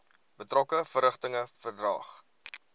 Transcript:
betrokke verrigtinge verdaag